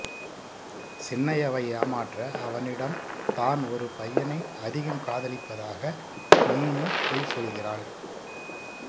சின்னையாவை ஏமாற்ற அவனிடம் தான் ஒரு பையனை அதிகம் காதலிப்பதாக மீனு பொய் சொல்கிறாள்